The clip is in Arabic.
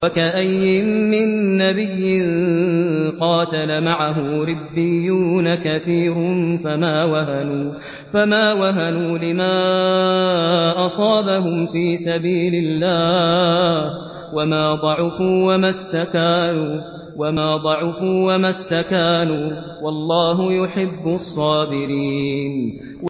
وَكَأَيِّن مِّن نَّبِيٍّ قَاتَلَ مَعَهُ رِبِّيُّونَ كَثِيرٌ فَمَا وَهَنُوا لِمَا أَصَابَهُمْ فِي سَبِيلِ اللَّهِ وَمَا ضَعُفُوا وَمَا اسْتَكَانُوا ۗ وَاللَّهُ يُحِبُّ الصَّابِرِينَ